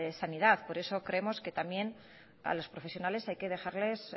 sanidad por eso creemos que también a los profesionales hay que dejarles